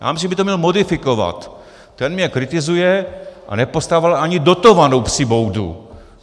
Já myslím, že by to měl modifikovat: Ten mě kritizuje a nepostavil ani dotovanou psí boudu.